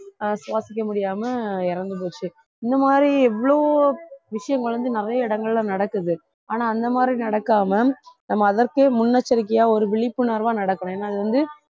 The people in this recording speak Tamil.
ஆஹ் சுவாசிக்க முடியாம இறந்து போச்சு இந்த மாதிரி எவ்ளோ விஷயங்கள் வந்து நிறைய இடங்கள்ல நடக்குது ஆனா அந்த மாதிரி நடக்காம நம்ம அதற்கே முன்னெச்சரிக்கையா ஒரு விழிப்புணர்வா நடக்கணும் ஏன்னா அது வந்து